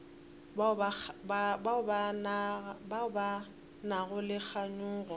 bao ba nago le kganyogo